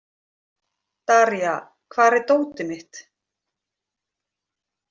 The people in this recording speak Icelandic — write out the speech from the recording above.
Daría, hvar er dótið mitt?